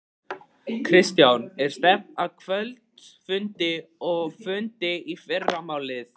Kristján: Er stefnt að kvöldfundi og fundi í fyrramálið?